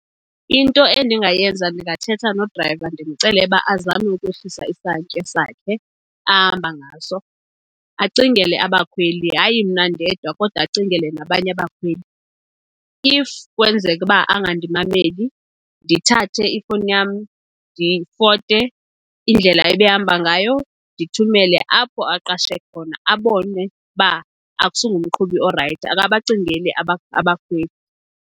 Into endingayenza ndingathetha nodrayiva ndimcelele uba azame ukwehlisa isantya sakhe ahamba ngaso, acingele abakhweli. Hayi mna ndedwa, kodwa acingele nabanye abakhweli. If kwenzeka uba angandimameli, ndithathe ifowuni yam ndifote indlela ebehamba ngayo ndithumele apho aqashe khona abone uba akusingumqhubi orayithi, akabacingeli abakhweli.